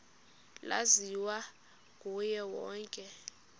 laziwa nguye wonke